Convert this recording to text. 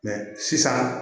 sisan